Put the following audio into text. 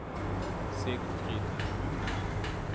Sigfrid Lohne